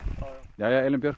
jæja Elín Björk